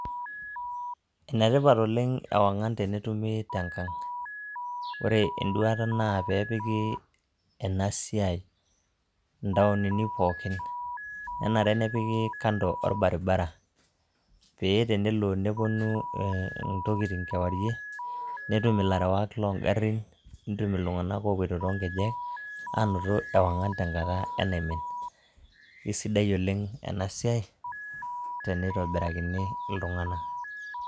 Enetipat oleng' ewangan tenetumi tengang', ore enduaata naa pee epiki ena siai indaonini pookin, nenare nipiki kando olbaribara paa tenelo nelotu intokitin kewarie nitum ilarewak loo garin, nitum iltunganak oo poito too nkejek aanoto ewangan tenkata enaimin. Aisidai oleng' ena siai tenitobirakini iltunganak.